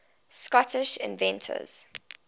scottish inventors